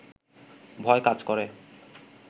ভয় কাজ করে